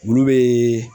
Olu bɛ